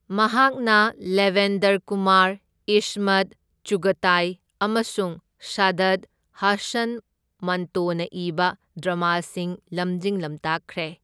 ꯃꯍꯥꯛꯅ ꯂꯦꯕꯦꯟꯗꯔ ꯀꯨꯃꯥꯔ, ꯏꯁꯃꯠ ꯆꯨꯘꯇꯥꯏ ꯑꯃꯁꯨꯡ ꯁꯥꯗꯠ ꯍꯁꯟ ꯃꯟꯇꯣꯅ ꯏꯕ ꯗ꯭꯭ꯔꯃꯥꯁꯤꯡ ꯂꯝꯖꯤꯡ ꯂꯝꯇꯥꯛꯈ꯭ꯔꯦ꯫